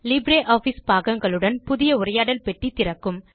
LibreOffice பாகங்களுடன் புதிய உரையாடல் பெட்டி திறக்கும்